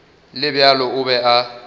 le bjalo o be a